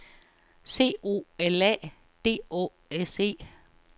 C O L A D Å S E